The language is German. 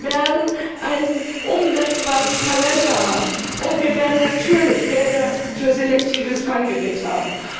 Wir werden einen umsetzbaren Kalender haben, und wir werden natürlich Gelder für selektives Fanggerät haben.